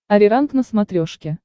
ариранг на смотрешке